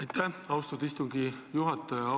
Aitäh, austatud istungi juhataja!